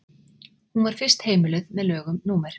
hún var fyrst heimiluð með lögum númer